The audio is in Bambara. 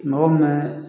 Mɔgɔ min